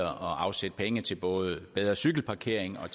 at afsætte penge til både bedre cykelparkering og